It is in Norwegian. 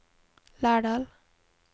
Lærdal